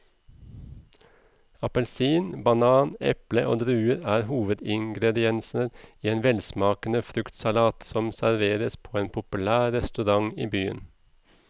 Appelsin, banan, eple og druer er hovedingredienser i en velsmakende fruktsalat som serveres på en populær restaurant i byen.